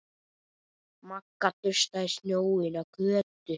Magga dustaði snjóinn af Kötu.